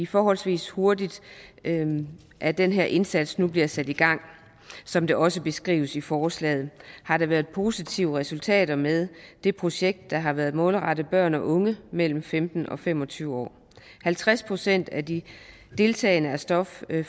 forholdsvis hurtigt at den her indsats nu bliver sat i gang som det også beskrives i forslaget har der været positive resultater med det projekt der har været målrettet børn og unge mellem femten og fem og tyve år halvtreds procent af de deltagende er stoffri